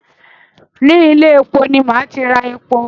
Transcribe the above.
Ni ilé-epo ni màá ti ra epo